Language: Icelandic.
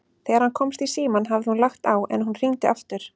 Þegar hann komst í símann hafði hún lagt á, en hún hringdi aftur.